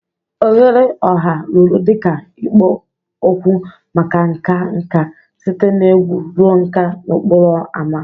Oghere ọha rụrụ dị ka ikpo okwu maka nka nka, site na egwu ruo nka n'okporo ámá.